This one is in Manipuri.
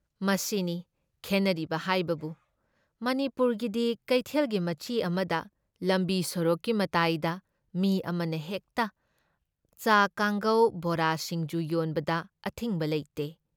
ꯃꯁꯤꯅꯤ ꯈꯦꯟꯅꯔꯤꯕ ꯍꯥꯏꯕꯕꯨ ꯃꯅꯤꯄꯨꯔꯒꯤꯗꯤ ꯀꯩꯊꯦꯜꯒꯤ ꯃꯆꯤ ꯑꯃꯗ, ꯂꯝꯕꯤ ꯁꯣꯔꯣꯛꯀꯤ ꯃꯇꯥꯏꯗ ꯃꯤ ꯑꯃꯅ ꯍꯦꯛꯇ ꯆꯥ ꯀꯥꯡꯉꯧ ꯕꯣꯔꯥ, ꯁꯤꯡꯖꯨ ꯌꯣꯟꯕꯗ ꯑꯊꯤꯡꯕ ꯂꯩꯇꯦ ꯫